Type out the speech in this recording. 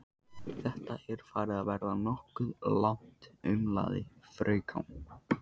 Þetta er farið að verða nokkuð langt, umlaði fraukan.